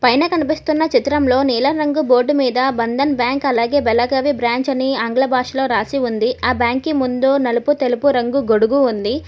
పైన కనిపిస్తున్న చిత్రంలో నీల రంగు బోర్డు మీద బంధన్ బ్యాంక్ అలాగే వెలగవి బ్రాంచ్ అని ఆంగ్ల భాషలో రాసి ఉంది ఆ బ్యాంకి ముందు నలుపు తెలుపు రంగు గొడుగు ఉంది.